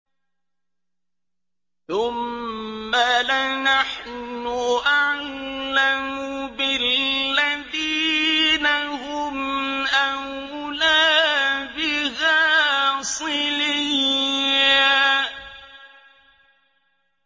ثُمَّ لَنَحْنُ أَعْلَمُ بِالَّذِينَ هُمْ أَوْلَىٰ بِهَا صِلِيًّا